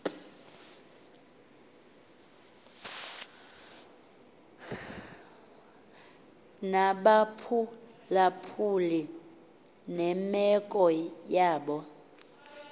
nabaphulaphuli nemeko yabo